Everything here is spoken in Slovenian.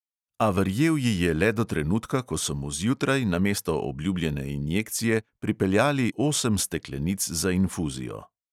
A verjel ji je le do trenutka, ko so mu zjutraj namesto obljubljene injekcije pripeljali osem steklenic za infuzijo.